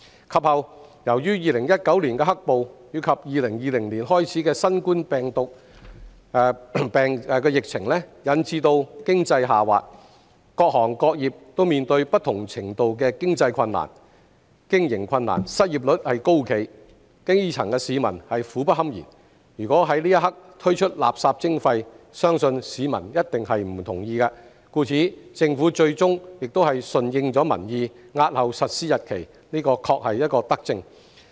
及後，由於2019年的"黑暴"及2020年開始的新冠狀病毒病疫情引致經濟下滑，各行各業均面對不同程度的經營困難，失業率高企，基層市民苦不堪言，如果在當刻推出垃圾徵費，相信市民一定不同意，故此，政府最終順應民意，押後實施日期，這確是一項德政。